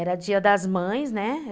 Era dia das mães, né?